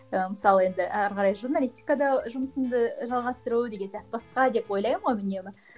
ы мысалы енді әрі қарай журналистикада жұмысымды жалғастыру деген сияқты басқа деп ойлаймын ғой үнемі